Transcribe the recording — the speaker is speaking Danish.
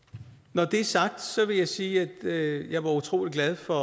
når det er sagt vil jeg sige at jeg var utrolig glad for